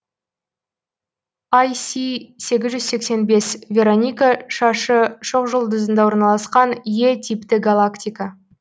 іс сегіз жүз сексен бес вероника шашы шоқжұлдызында орналасқан е типті галактика